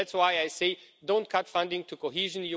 That's why I say don't cut funding to cohesion.